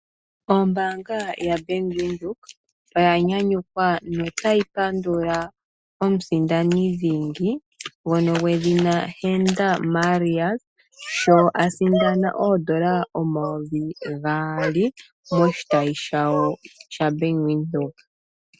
Ombaanga yaBank Windhoek oya nyanyukwa nota yi pandula omusindani dhingi, ngono gwedhina Henda Marais, sho a sindana oodola omayovi gaali moshitayi shawo shaBank Windhoek.